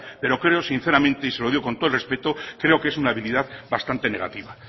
preo creo sinceramente y se lo digo con todo el respeto creo que es una habilidad bastante negativa